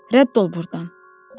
Rədd ol burdan" dedi.